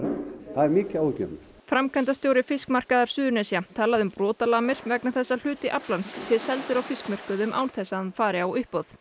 það er mikið áhyggjuefni framkvæmdastjóri fiskmarkaðar Suðurnesja talaði um brotalamir vegna þess að hluti aflans sé seldur á fiskmörkuðum án þess að hann fari á uppboð